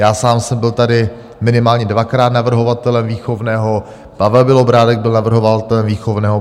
Já sám jsem byl tady minimálně dvakrát navrhovatelem výchovného, Pavel Bělobrádek byl navrhovatelem výchovného.